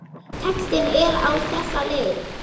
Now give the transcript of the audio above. Textinn er á þessa leið